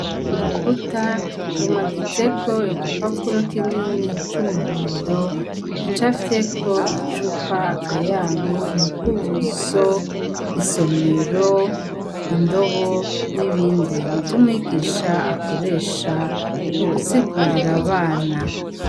Urukuta rumaditseko igipapuro kinini c'umuhondo gica fyeko icupa akayabu umukubuzo, isomero, indobo n'ibindi ni vyo umwigisha akoresha mu gusigurira abana.